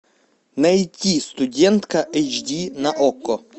найти студентка эйч ди на окко